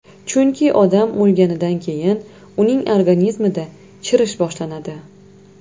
Chunki odam o‘lganidan keyin uning organizmida chirish boshlanadi.